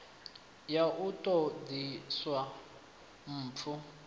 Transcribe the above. ya u ṱo ḓisisa mpfu